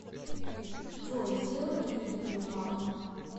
джой сделай мне кредитную карту